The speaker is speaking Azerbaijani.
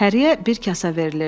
Həryə bir kasa verilirdi.